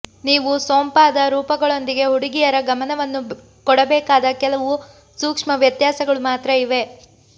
ನೀವು ಸೊಂಪಾದ ರೂಪಗಳೊಂದಿಗೆ ಹುಡುಗಿಯರ ಗಮನವನ್ನು ಕೊಡಬೇಕಾದ ಕೆಲವು ಸೂಕ್ಷ್ಮ ವ್ಯತ್ಯಾಸಗಳು ಮಾತ್ರ ಇವೆ